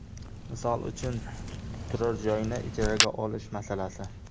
Misol uchun turar joyni ijaraga olish masalasi.